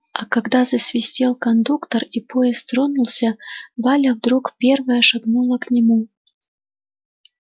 а когда засвистел кондуктор и поезд тронулся валя вдруг первая шагнула к нему